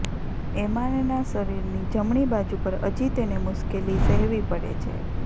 એમાનના શરીરની જમણી બાજુ પર હજી તેને મુશ્કેલી સહેવી પડે છે